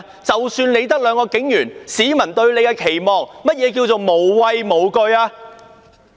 即使只有兩名警員，市民對他們也有期望，甚麼叫做"無畏無懼"？